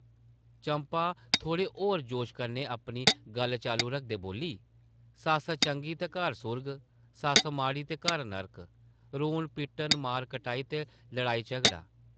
चंपा थोह्ड़े होर जोश कन्नै अपनी गल्ल चालू रखदे बोल्ली, सस्स चंगी ते घर सुर्ग; सस्स माड़ी ते घर नरक; रोन-पिट्टन, मार-कटाई ते लड़ाई-झगड़ा ।